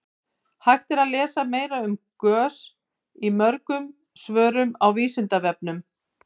hægt er að lesa meira um gös í mörgum svörum á vísindavefnum